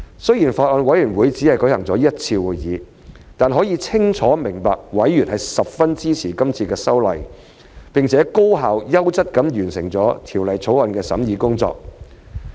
雖然法案委員會只舉行過一次會議，但可以清楚明白委員十分支持今次修例，並且高效優質地完成了《條例草案》的審議工作。